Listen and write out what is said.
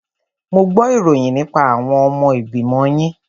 Mo gbo ìròyìn nípa àwọn ọmọ ìgbìmọ̀ yín.